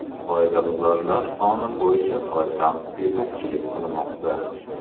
Qoidabuzarlar soni bo‘yicha poytaxt yetakchilik qilmoqda.